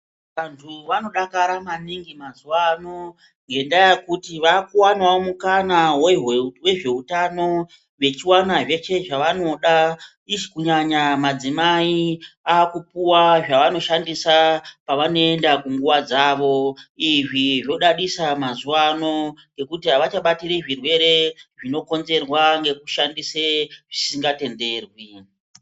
Vanhu vanodakara maningi mazuwano ngendaa yekuti vakuwanawo mukana wezveutano vechiwanazve zvavanoda kunyanya madzimai akupuwa zvavanoshandisa pavanoenda kunguwa dzavo. Izvi zvodadisa mazuwano ngekuti havachabatiri zvirwere zvinokonzerwa ngekushandise zvisingatenderwi.